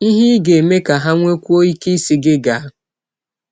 Ihe Ị Ga - eme Ka Ha Nwekwụọ Ike Ịsị Gị Gaa